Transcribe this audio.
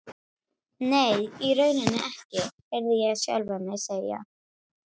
Nei, í rauninni ekki, heyrði ég sjálfan mig segja.